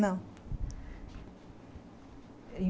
Não.